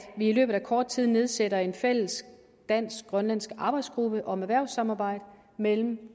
vi i løbet af kort tid får nedsat en fælles dansk grønlandsk arbejdsgruppe om erhvervssamarbejde mellem